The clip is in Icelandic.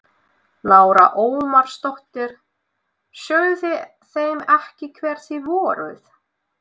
Lára Ómarsdóttir: Sögðuð þið þeim ekki hver þið voruð?